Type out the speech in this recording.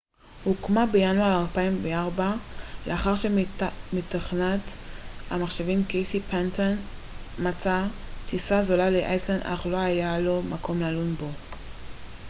couchsurfing הוקמה בינואר 2004 לאחר שמתכנת המחשבים קייסי פנטון מצא טיסה זולה לאיסלנד אך לא היה לו מקום ללון בו